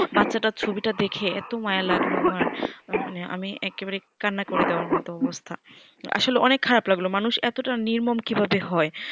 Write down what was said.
বাচ্চাটার ছবি টা দেখে এত মায়া লাগলো আমার মানে আমি একবারে কান্না করে দেবার মতো অবস্থা আসলে অনেক খারাপ লাগলো মানুষ এতটা নির্মম কিভাবে হয়